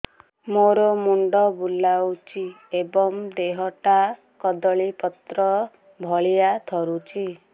ମୋର ମୁଣ୍ଡ ବୁଲାଉଛି ଏବଂ ଦେହଟା କଦଳୀପତ୍ର ଭଳିଆ ଥରୁଛି